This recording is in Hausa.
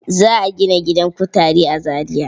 Za a gina gidan kutare a Zariya.